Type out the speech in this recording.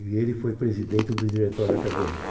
E ele foi presidente do diretório acadêmico.